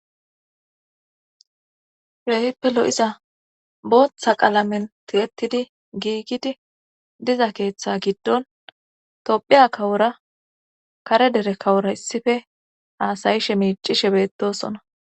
Keehippe lo7iza booththa qalamen tigettidi giigidi diza keeththe giddon tophiya kawora kare dere kawora issife haasayishe miicishe beettosona